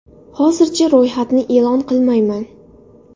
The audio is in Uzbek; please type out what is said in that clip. Hozircha ro‘yxatni e’lon qilmayman.